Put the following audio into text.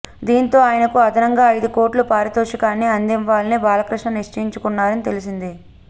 దీంతో ఆయనకు అదనంగా ఐదుకోట్ల పారితోషికాన్ని అందివ్వాలని బాలకృష్ణ నిశ్చయించున్నారని తెలిసింది